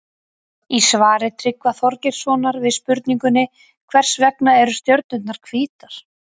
Í svari Tryggva Þorgeirssonar við spurningunni Hvers vegna eru stjörnurnar hvítar?